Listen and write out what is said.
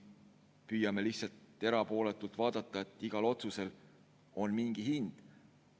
Püüame lihtsalt erapooletult vaadata, et igal otsusel on mingi hind.